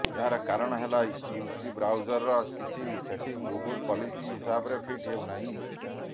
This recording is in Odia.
ଏହାର କାରଣ ହେଲା ୟୁସି ବ୍ରାଉଜର କିଛି ସେଟିଂ ଗୁଗଲ ପଲିସି ହିସାବରେ ଫିଟ୍ ହେଉ ନାହିଁ